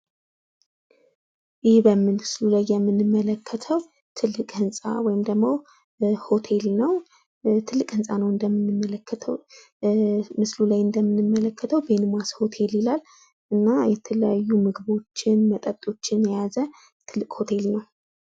ይህ በምስሉ ላይ እንደምንመለከተው ትልቅ ህንጻ ወይም ሆቴል ነው። ምስሉ ላይ እንደምንመለከተው ቤንማስ ሆቴል ይላል። የተለያዩ ምግቦችን እና መጠጦችን የያዘ ትልቅ ሆቴል ነው።